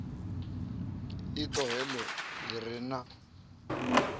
iṱo heḽo ḽi re na